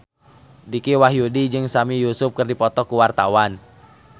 Dicky Wahyudi jeung Sami Yusuf keur dipoto ku wartawan